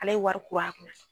Ale ye wari kuru a kun na